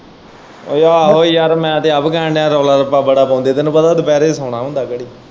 ਆਹੋ ਯਾਰ ਮੈਂ ਤੇ ਆਪ ਕਹਿਣ ਦਿਆਂ ਰੌਲ਼ਾ-ਰੱਪਾ ਬੜਾ ਪਾਉਂਦੇ ਤੈਨੂੰ ਪਤਾ ਦੁਪਹਿਰੇ ਸੌਣਾ ਹੁੰਦਾ ਘੜੀ।